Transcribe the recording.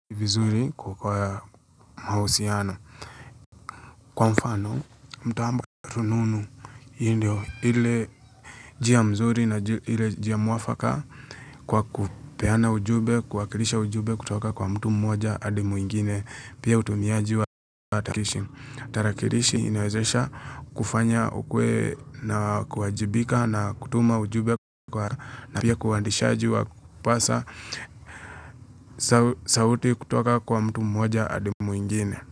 Vizuri kwa kwa mahusiano. Kwa mfano, mtambo wa rununu hiyo ndio ile njia mzuri na ile njia mwafaka kwa kupeana ujumbe, kuwakirisha ujumbe kutoka kwa mtu mmoja hadi mwingine. Pia utumiaji wa takrishi. Tarakirishi inawezesha kufanya ukuwe na kuwajibika na kutuma ujumbe kwa na pia kuandishaji wa kupasa sauti kutoka kwa mtu mmoja hadi mwingine.